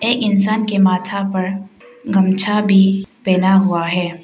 ए इंसान के माथा पर गमछा भी पेना हुआ है।